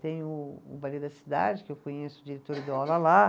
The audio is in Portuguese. Tem o o Baile da Cidade, que eu conheço o diretor, ele deu aula lá.